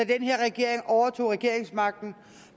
den her regering overtog regeringsmagten